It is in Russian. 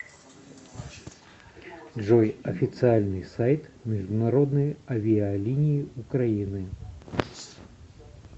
джой официальный сайт международные авиалинии украины